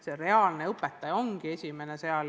Sealne õpetaja ongi esimene õpetaja.